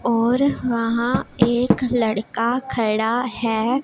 और वहां एक लड़का खड़ा है।